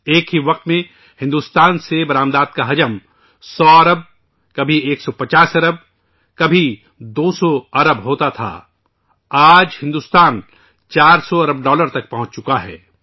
ایک وقت تھا کہ بھارت کی برآمدات کبھی 100 بلین ، کبھی 150 بلین ، کبھی 200 بلین تک ہوا کرتی تھی ، اب آج بھارت 400 بلین ڈالر تک پہنچ گیا ہے